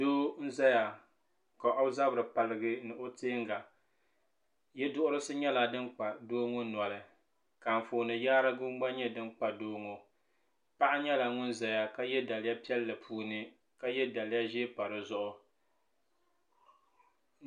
doo n zaya ka o zabiri paligi ni o tɛŋa yɛ duhisi nyɛla din kpa doo ŋɔ noli ka anƒɔni gba nyɛ din kpa doo ŋɔ noli paɣ nyɛla ŋɔ zaya ka yɛ daliya piɛli din ni ka yɛ daliya ʒiɛ pa di zuɣ